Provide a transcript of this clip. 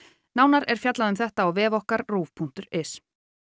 nánar er fjallað um þetta á vef okkar RÚV punktur is